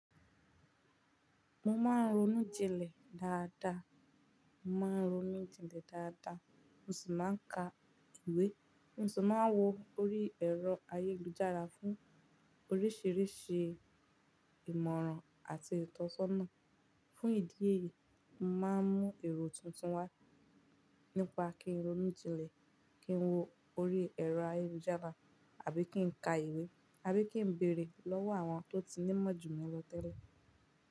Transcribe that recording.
Mo máa ń ronú jinlẹ̀ dáadáa, mo máa ń ronú jinlẹ̀ dáadáa, mo sì máa ń ka ìwé. Mo sì máa ń wo orí ẹ̀rọ ayélujára fún oríṣiríṣi ìmọ̀ràn àti ìtọ́sọ́nà. Fún ìdí èyí, mo máa ń mú èrò tuntun wá nípa kí ń ronú jinlẹ̀, kí ń wo orí ẹ̀rọ ayélujára àbí kí ń ka ìwé, àbí kí ń bèrè lọ́wọ́ àwọn tó ti ní mọ́jù mí lọ tẹ́lẹ̀.